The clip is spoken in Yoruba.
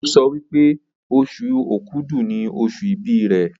o sọ wípé Oṣù Òkúdu ní oṣù ibì rẹ.